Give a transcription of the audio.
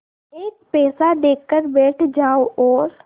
एक पैसा देकर बैठ जाओ और